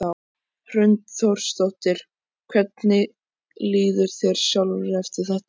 Hrund Þórsdóttir: Hvernig líður þér sjálfri eftir þetta?